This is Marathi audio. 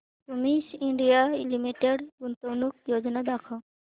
क्युमिंस इंडिया लिमिटेड गुंतवणूक योजना दाखव